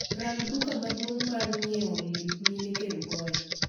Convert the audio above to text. Rang duka maduong mar nyie lep mine kerugoya